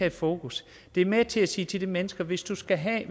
i fokus det er med til at sige til de mennesker hvis du skal have